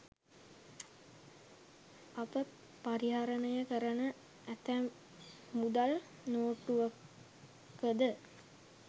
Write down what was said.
අප පරිහරණය කරන ඇතැම් මුදල් නෝට්ටුවකද